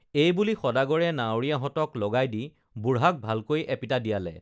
এইবুলি সদাগৰে নাৱৰীয়াহঁতক লগাই দি বুঢ়াক ভালকৈ এপিটা দিয়ালে